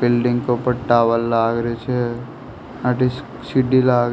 building के ऊपर tower लाग रेहो छे अठे सीढ़ी लाग री --